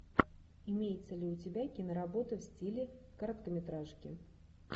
имеется ли у тебя киноработа в стиле короткометражки